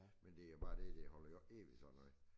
Men det jo bare det det holder jo ikke evigt sådan noget